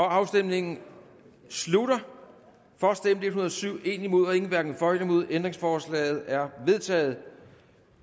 afstemningen slutter for stemte en hundrede og syv imod stemte en hverken for eller imod ændringsforslaget er vedtaget